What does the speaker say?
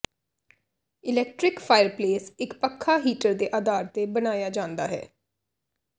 electric fireplace ਇੱਕ ਪੱਖਾ heater ਦੇ ਆਧਾਰ ਤੇ ਬਣਾਇਆ ਜਾਂਦਾ ਹੈ